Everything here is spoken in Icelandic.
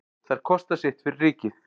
Þær kosta sitt fyrir ríkið.